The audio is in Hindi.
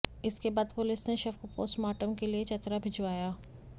इसके बाद पुलिस ने शव को पोस्टमॉर्टम के लिए चतरा भिजवाया